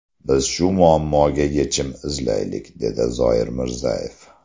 Biz shu muammoga yechim izlaylik”, dedi Zoir Mirzayev.